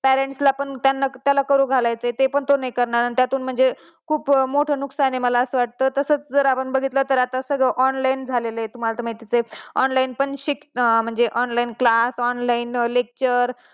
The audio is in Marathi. parents ला कारण कि आपण त्यांना तसं, कुठे , त्यातून पुढे खुप मोठा नुकसान आहे. मला असं वाटत. तसच जर आपण बघितलं तर आता सगळं online झालेलं आहे तुम्हाला तर माहीतच आहे online पण म्हणजे व online class online lecture,